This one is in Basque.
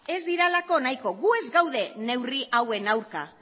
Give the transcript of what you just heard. ez direlako nahiko gu ez gaude neurri hauen aurka